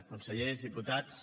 consellers diputats